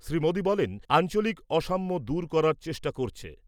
শ্রী মোদী বলেন , আঞ্চলিক অসাম্য দূর করার চেষ্টা করছে ।